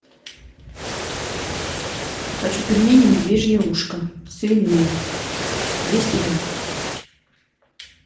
хочу пельмени медвежье ушко свиные двести грамм